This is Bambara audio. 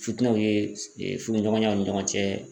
Futinɛw ye e furuɲɔgɔnyaw ni ɲɔgɔn cɛ